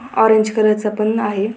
Orange colour चा पण आहे.